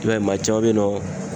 I b'a ye maa caman be yen nɔ